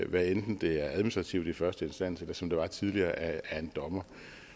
hvad enten det er administrativt i første instans eller som det var tidligere af en dommer